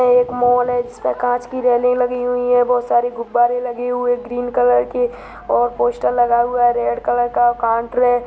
एक मॉल है जिस पर कांच की रेलिंग लगी हुई है बहुत सारे गुब्बारे लगे हुए है ग्रीन कलर के और पोस्टर लगा हुआ है रेड कलर का और काउंटर है।